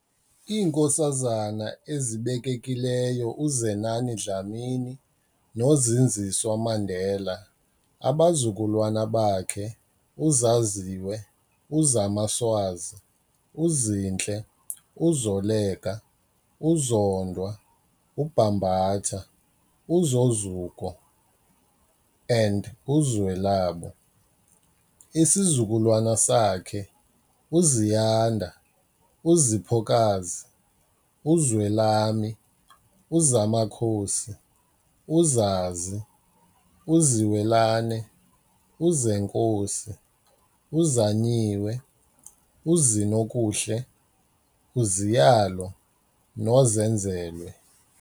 IiNkosazana ezibekekileyo uZenani Dlamini noZindziswa Mandela, abazukulwana bakhe- uZaziwe, uZamaswazi, uZinhle, uZoleka, uZondwa, uBambatha, uZozuko and uZwelabo- isizukulwane sakhe- uZiyanda, uZiphokazi, uZwelami, uZamakhosi, uZazi, uZiwelane, uZenkosi, uZanyiwe, uZinokuhle, uZiyalo noZenzelwe.